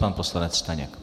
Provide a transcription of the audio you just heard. Pan poslanec Staněk.